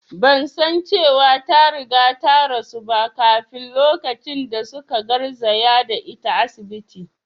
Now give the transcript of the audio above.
Ban san cewa ta riga ta rasu ba kafin lokacin da su ka garzaya da ita asibiti